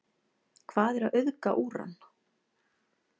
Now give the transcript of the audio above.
Hvað er að auðga úran?